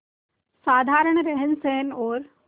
साधारण रहनसहन और